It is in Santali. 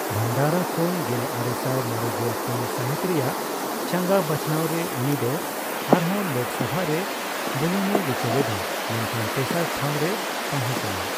ᱵᱷᱟᱱᱰᱟᱨᱟ ᱠᱷᱚᱱ ᱜᱮᱞᱟᱨᱮᱥᱟᱭ ᱢᱚᱲᱮᱜᱮᱞ ᱯᱩᱱ ᱥᱟᱦᱤᱛ ᱨᱮᱭᱟᱜ ᱪᱟᱸᱜᱟ ᱵᱟᱪᱷᱱᱟᱣ ᱨᱮ ᱩᱱᱤ ᱫᱚ ᱟᱨᱦᱚᱸ ᱞᱳᱠᱥᱚᱵᱷᱟ ᱨᱮ ᱵᱚᱞᱚᱱᱮ ᱨᱤᱠᱟᱹ ᱞᱮᱫᱟ, ᱢᱮᱱᱠᱷᱟᱱ ᱛᱮᱥᱟᱨ ᱴᱷᱟᱣ ᱨᱮᱭ ᱛᱟᱦᱮᱸ ᱠᱟᱱᱟ ᱾